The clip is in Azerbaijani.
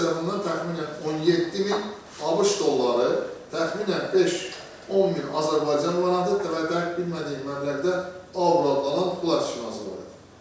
Həmin sellafandan təxminən 17000 ABŞ dolları, təxminən 5-10000 Azərbaycan manatı, demək dəqiq bilmədiyim məbləğdə avro pul aşkar edilmişdi.